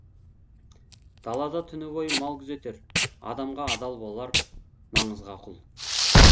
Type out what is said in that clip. далада түні бойы мал күзетер адамға адал болар маңызға құл